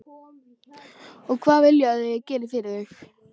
Og hvað vilja þau að ég geri fyrir þau?